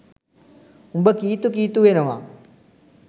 උඹ කීතු කීතු වෙනවා.